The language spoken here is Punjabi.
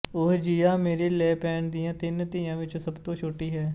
ਉਹ ਜੀਆਂ ਮੇਰੀ ਲੇ ਪੇਨ ਦੀਆਂ ਤਿੰਨ ਧੀਆਂ ਵਿੱਚੋਂ ਸਭ ਤੋਂ ਛੋਟੀ ਹੈ